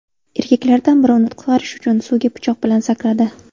Erkaklardan biri uni qutqarish uchun suvga pichoq bilan sakradi.